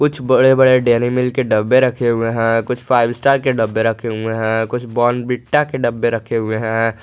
कुछ बड़े बड़े डेरी मिल्क के डब्बे रखे हुए हैं कुछ फाइव स्टार के डब्बे रखे हुए हैं कुछ बॉर्नविटा के डब्बे रखे हुए हैं।